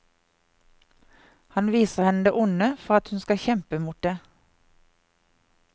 Han viser henne det onde for at hun skal kjempe mot det.